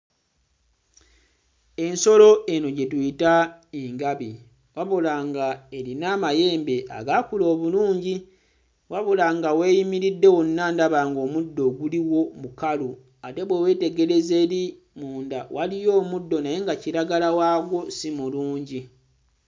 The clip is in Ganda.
Ensolo eno gye tuyita engabi wabula ng'erina amayembe agaakula obulungi wabula nga w'eyimiridde wonna ndaba ng'omuddo oguliwo mukalu ate bwe weetegereza eri munda, waliyo omuddo naye nga kiragala waagwo si mulungi.